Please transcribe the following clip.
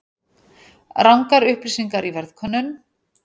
Rangar upplýsingar í verðkönnun